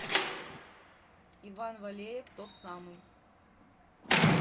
иван валеев тот самый